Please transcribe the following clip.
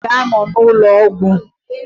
Dọkịta ga-anọ n'ụlọ ọgwụ